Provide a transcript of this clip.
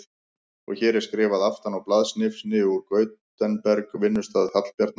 Og hér er skrifað aftan á blaðsnifsi úr Gutenberg, vinnustað Hallbjarnar